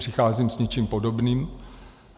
Přicházím s něčím podobným.